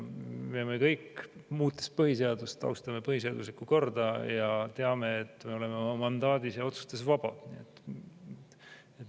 Me kõik, muutes põhiseadust, austame põhiseaduslikku korda ja teame, et me oleme oma mandaadis ja otsustes vaba.